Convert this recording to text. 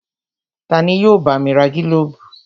Tani yóò bá mi ra gílóbù?